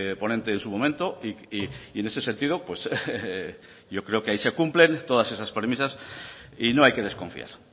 ponente en su momento y en ese sentido pues yo creo que ahí se cumplen todas esas premisas y no hay que desconfiar